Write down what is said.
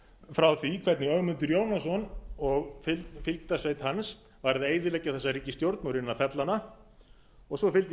frá því hvernig ögmundur jónasson og fylgdarsveinn hans var að eyðileggja þessa ríkisstjórn og reyna að fella hana og svo fylgdi i